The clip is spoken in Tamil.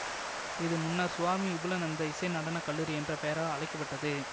இது முன்னர் சுவாமி விபுலனந்த இசை நடன கல்லூரி என்ற பெயரால் அழைக்க பட்டது